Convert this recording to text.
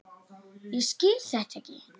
Ég skil þetta ekki.